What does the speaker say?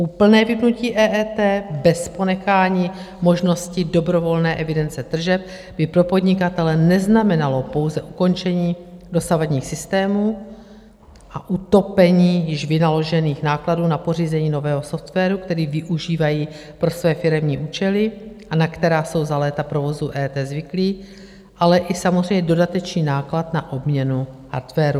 Úplné vypnutí EET bez ponechání možnosti dobrovolné evidence tržeb by pro podnikatele neznamenalo pouze ukončení dosavadních systémů a utopení již vynaložených nákladů na pořízení nového softwaru, který využívají pro své firemní účely a na která jsou za léta provozu EET zvyklí, ale i samozřejmě dodatečný náklad na obměnu hardwaru.